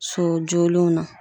Sojɔlenw na